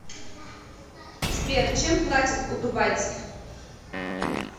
сбер чем платят у дубайцев